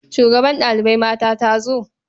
Shugabar ɗalibai mata ta zo?